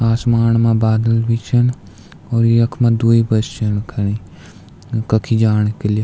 आसमाण मा बादल भी छिन और यख्मा द्वि बस छिन खड़ी कखी जाणी के लिए।